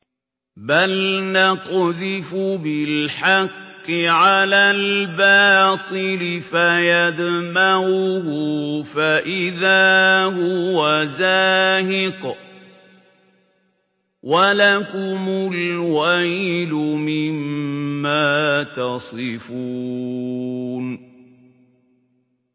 بَلْ نَقْذِفُ بِالْحَقِّ عَلَى الْبَاطِلِ فَيَدْمَغُهُ فَإِذَا هُوَ زَاهِقٌ ۚ وَلَكُمُ الْوَيْلُ مِمَّا تَصِفُونَ